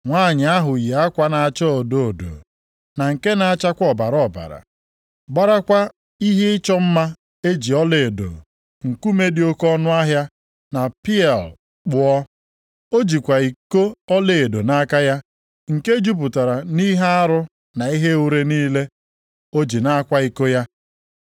Nwanyị ahụ yi akwa na-acha odo odo na nke na-achakwa ọbara ọbara, gbarakwa ihe ịchọ mma e ji ọlaedo, nkume dị oke ọnụahịa na pieal kpụọ. O jikwa iko ọlaedo nʼaka ya nke jupụtara nʼihe arụ na ihe ure niile o ji na-akwa iko ya.